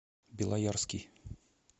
белоярский